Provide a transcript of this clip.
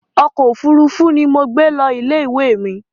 Ọkọ̀ òfuurufú ni mo gbé lọ ilé ìwé mi